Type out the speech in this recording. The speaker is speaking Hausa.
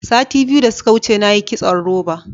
Sati biyu da suka wuce na yi kitson roba.